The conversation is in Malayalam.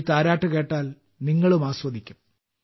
ഈ താരാട്ട് കേട്ടാൽ നിങ്ങളും ആസ്വദിക്കും